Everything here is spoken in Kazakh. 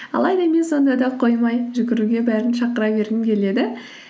алайда мен сонда да қоймай жүгіруге бәрін шақыра бергім келеді